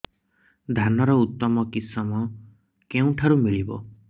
ଧାନର ଉତ୍ତମ କିଶମ କେଉଁଠାରୁ ମିଳିବ